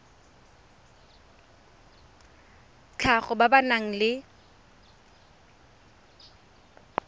tlhago ba ba nang le